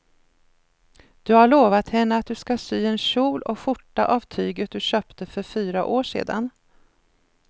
Du har lovat henne att du ska sy en kjol och skjorta av tyget du köpte för fyra år sedan.